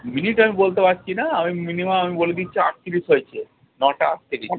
Minute আমি বলতে পারছি না, আমি minimum আমি বলে দিচ্ছি আটত্রিশ হয়েছে, নটা আটত্রিশ।